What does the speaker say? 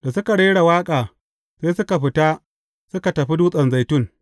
Da suka rera waƙa, sai suka fita, suka tafi Dutsen Zaitun.